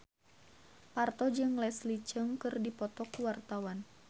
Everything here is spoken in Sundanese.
Parto jeung Leslie Cheung keur dipoto ku wartawan